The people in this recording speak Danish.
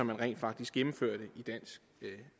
man rent faktisk gennemførte i dansk